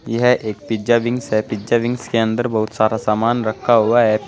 यह एक pizza wings है पिज़्ज़ा विंग्स के अंदर बहुत सारा सामान रखा हुआ है।